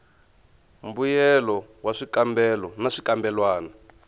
mbuyelo wa swikambelo na swikambelwana